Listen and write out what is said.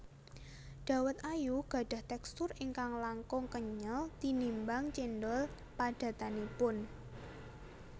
Dawet ayu gadhah tekstur ingkang langkung kenyel tinimbang cendhol padatanipun